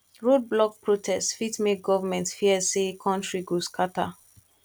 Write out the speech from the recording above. road block protest fit make government fear say country go scatter